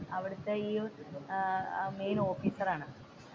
അവിടത്തെ ഈ main officer ആണ്.